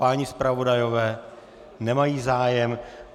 Páni zpravodajové nemají zájem.